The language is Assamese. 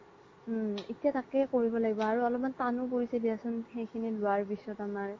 উম এতিয়া তকেই কৰিব লাগিব আৰু অল্প্মান তানও পোৰিছে দিয়াচোন সেই খিনিলুৱাৰ পিছ্ত আমাৰ